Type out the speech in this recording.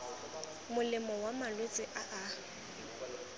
molemo wa malwetse a a